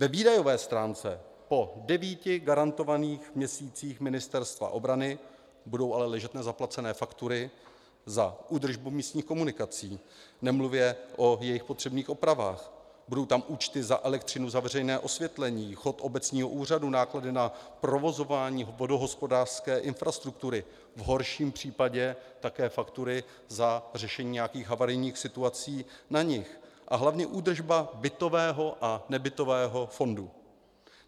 Ve výdajové stránce po devíti garantovaných měsících Ministerstva obrany budou ale ležet nezaplacené faktury za údržbu místních komunikací, nemluvě o jejich potřebných opravách, budou tam účty za elektřinu za veřejné osvětlení, chod obecního úřadu, náklady na provozování vodohospodářské infrastruktury, v horším případě také faktury za řešení nějakých havarijních situací na nich a hlavně údržba bytového a nebytového fondu.